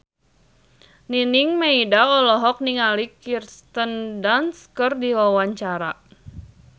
Nining Meida olohok ningali Kirsten Dunst keur diwawancara